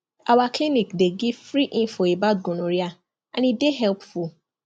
our clinic dey give free info about gonorrhea and e dey helpful